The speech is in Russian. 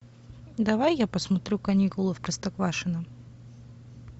давай я посмотрю каникулы в простоквашино